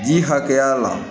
Ji hakɛya la